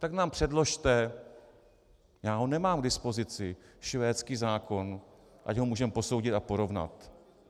Tak nám předložte, já ho nemám k dispozici, švédský zákon, ať ho můžeme posoudit a porovnat.